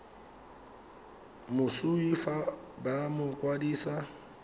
moswi fa ba mo kwadisa